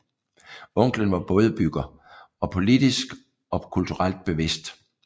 Onklen var bådbygger og politisk og kulturelt bevidst